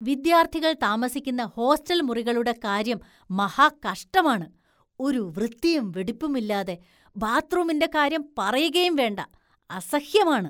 വിദ്യാര്‍ഥികള്‍ താമസിക്കുന്ന ഹോസ്റ്റല്‍ മുറികളുടെ കാര്യം മഹാകഷ്ടമാണ്, ഒരു വൃത്തിയും വെടുപ്പുമില്ലാതെ, ബാത്ത്‌റൂമിന്റെ കാര്യം പറയുകയും വേണ്ട, അസഹ്യമാണ്.